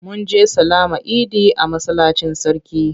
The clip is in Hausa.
Mun je sallama idi a masallacin sarki.